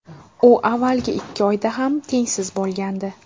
U avvalgi ikki oyda ham tengsiz bo‘lgandi.